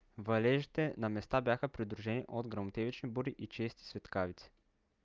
валежите на места бяха придружени от гръмотевични бури и чести светкавици